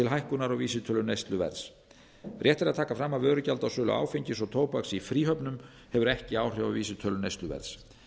hækkunar á vísitölu neysluverðs rétt er að taka fram að vörugjald á sölu áfengis og tóbaks í fríhöfnum hefur ekki áhrif á vísitölu neysluverðs